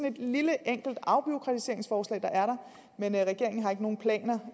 et lille enkelt afbureaukratiseringsforslag der er der men regeringen har ikke nogen planer